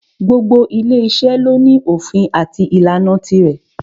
Gbogbo ile iṣẹ́ ni o ní òfin àti ìlànà tirẹ̀.